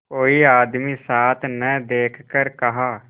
कोई आदमी साथ न देखकर कहा